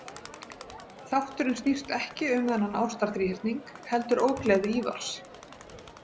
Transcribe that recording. Þátturinn snýst ekki um þennan ástarþríhyrning heldur ógleði Ívars.